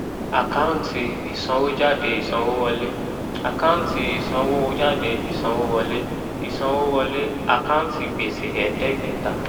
àkáǹtì ìsanwójáde ìsanwówọlé àkáǹtì ìsanwójáde ìsanwówọlé ìsanwówọlé àkáǹtì gbèsè ẹ̀ẹ́dẹ́gbẹ̀ta